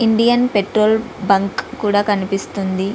Indian petrol bunk కూడా కనిపిస్తుంది.